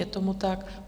Je tomu tak.